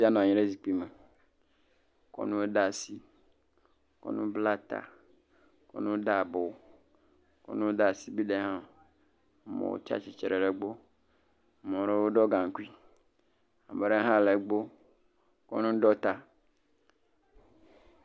Ŋutsu sia nɔ anyi ɖe zikpui me kɔ nu ɖe asi, kɔ nu bla ta, kɔnu de abɔ, kɔnu de asibide hã, ame wo tsi atsitre ɖe egbɔ, ame ɖewo ɖɔ gaŋkui, ame ɖewo hã le egbɔ kɔ nu ɖɔ ta.